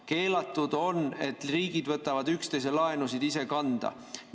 Keelatud on, et riigid võtavad üksteise laenusid ise kanda.